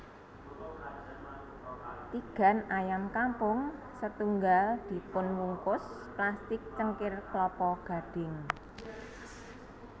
Tigan ayam kampung setunggal dipunwungkus plastik cengkir klapa gadhing